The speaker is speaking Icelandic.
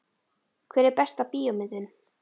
Hver er besta bíómyndin?